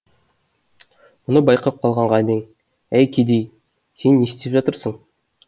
мұны байқап қалған ғабең әй кедей сен не істеп жатырсың